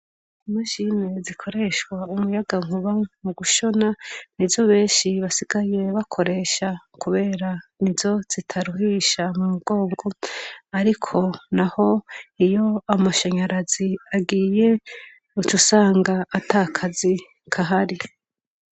Imashine zikoreshwa umuyaga nkuba mugushona nizo benshi basigaye bakoresha kubera nizo zitaruhisha umugongo. Ariko naho iyo amashanyarazi agiye uca usanga ata kazi gahari.